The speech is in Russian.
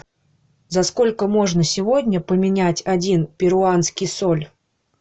за сколько можно сегодня поменять один перуанский соль